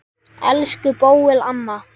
Elsku Bóel amma.